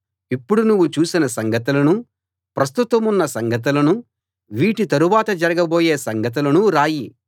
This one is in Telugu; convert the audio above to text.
ఇప్పుడు నువ్వు చూసిన సంగతులనూ ప్రస్తుతమున్న సంగతులనూ వీటి తరువాత జరగబోయే సంగతులనూ రాయి